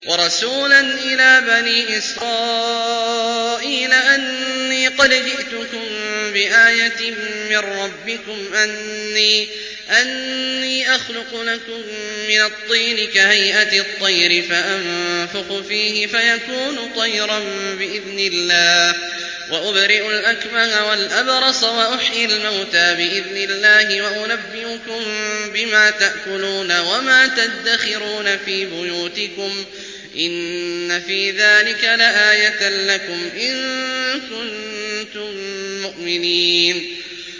وَرَسُولًا إِلَىٰ بَنِي إِسْرَائِيلَ أَنِّي قَدْ جِئْتُكُم بِآيَةٍ مِّن رَّبِّكُمْ ۖ أَنِّي أَخْلُقُ لَكُم مِّنَ الطِّينِ كَهَيْئَةِ الطَّيْرِ فَأَنفُخُ فِيهِ فَيَكُونُ طَيْرًا بِإِذْنِ اللَّهِ ۖ وَأُبْرِئُ الْأَكْمَهَ وَالْأَبْرَصَ وَأُحْيِي الْمَوْتَىٰ بِإِذْنِ اللَّهِ ۖ وَأُنَبِّئُكُم بِمَا تَأْكُلُونَ وَمَا تَدَّخِرُونَ فِي بُيُوتِكُمْ ۚ إِنَّ فِي ذَٰلِكَ لَآيَةً لَّكُمْ إِن كُنتُم مُّؤْمِنِينَ